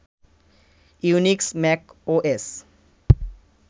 Unix, Mac OS